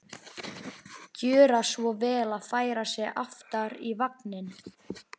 Gjöra svo vel að færa sig aftar í vagninn!